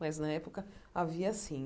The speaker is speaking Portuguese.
mas na época havia sim.